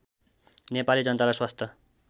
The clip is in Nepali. नेपाली जनतालाई स्वास्थ्य